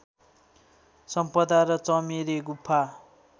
सम्पदा र चमेरे गुफा